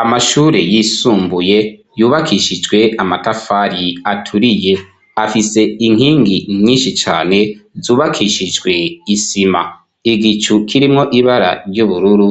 Amashure yisumbuye yubakishijwe amatafari aturiye afise inkingi nyishi cane zubakishijwe isima igicu kirimwo ibara ry'ubururu